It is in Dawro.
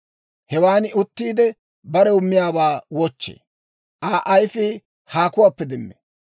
Hewan uttiide, barew miyaawaa wochchee; Aa ayifii haakuwaappe demmee.